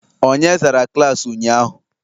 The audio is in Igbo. Onye zara klaasị ụnyahụ?